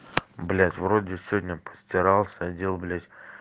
блять вроде сегодня постирался отдел блять